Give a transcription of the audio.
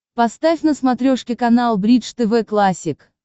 поставь на смотрешке канал бридж тв классик